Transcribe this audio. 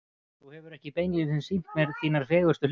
Þú hefur ekki beinlínis sýnt mér þínar fegurstu hliðar.